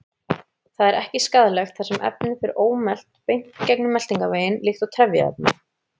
Það er ekki skaðlegt þar sem efnið fer ómelt beint gegnum meltingarveginn líkt og trefjaefni.